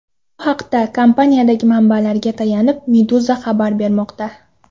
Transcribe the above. Bu haqda, kompaniyadagi manbalariga tayanib, Meduza xabar bermoqda .